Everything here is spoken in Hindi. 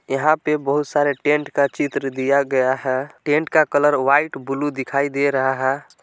यहाँ पे बहुत सारे टेंट का चित्र दिया गया है। टेंट का कलर वाइट ब्लू दिखाई दे रहा--